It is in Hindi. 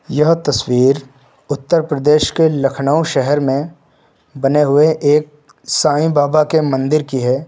यह तस्वीर उत्तर प्रदेश के लखनऊ शहर में बने हुए एक साईं बाबा के मंदिर की है।